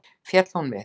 Féll hún við.